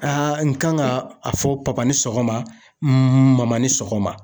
n kan ka a fɔ papa ni sɔgɔma, maman ni sɔgɔma.